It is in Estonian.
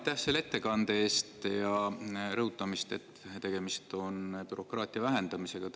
Aitäh selle ettekande eest ja rõhutamast, et tegemist on bürokraatia vähendamisega!